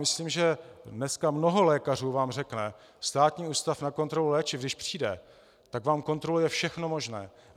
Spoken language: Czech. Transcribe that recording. Myslím, že dneska mnoho lékařů vám řekne: Státní ústav pro kontrolu léčiv když přijde, tak vám kontroluje všechno možné.